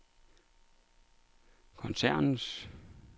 koncernens